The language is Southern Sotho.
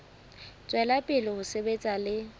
tswela pele ho sebetsa le